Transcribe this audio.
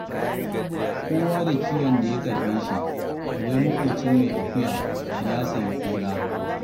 Kowa da kiwon da ya karɓe shi, wai maƙocin mai akuya ya sayi kura.